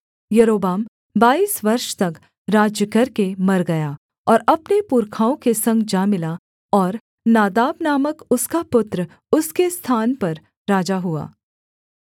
यारोबाम बाईस वर्ष तक राज्य करके मर गया और अपने पुरखाओं के संग जा मिला और नादाब नामक उसका पुत्र उसके स्थान पर राजा हुआ